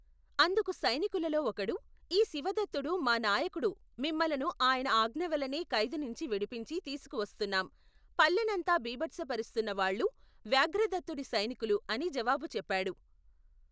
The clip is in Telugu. అందుకు సైనికులలో ఒకడు ఈ శివదత్తుడు మా నాయకుడు మిమ్ములను ఆయన ఆజ్ఞవల్లనే ఖైదునుంచి విడిపించి తీసుకువస్తున్నాం పల్లెనంతా భీభత్సపరుస్తున్న వాళ్ళు వ్యాఘ్రదత్తుడి సైనికులు అని జవాబు చెప్పాడు.